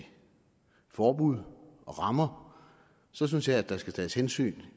forbud og rammer så synes jeg der skal tages hensyn